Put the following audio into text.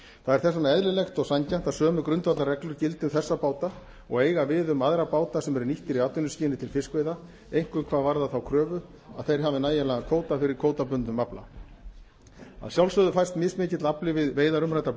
það er þess vegna eðlilegt og sanngjarnt að sömu grundvallarreglur gildi um þessa báta og eiga við um aðra báta sem eru nýttir í atvinnuskyni til fiskveiða einkum hvað varðar þá kröfu að þeir hafi nægjanlegan kvóta fyrir kvótabundnum afla að sjálfsögðu fæst mismikill afli við veiðar umræddra